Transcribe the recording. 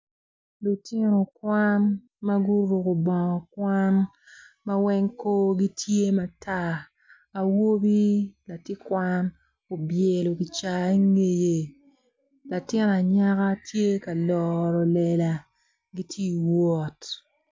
Lutino kwan ma guruko bongo kwan ma weng korgi tye matar awobi latin kwan obyelo gicaa ingeye latin anyaka gitye loro lela gitye wot.